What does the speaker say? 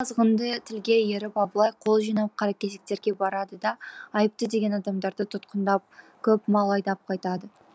осы азғынды тілге еріп абылай қол жинап қаракесектерге барады да айыпты деген адамдарды тұтқындап көп мал айдап қайтады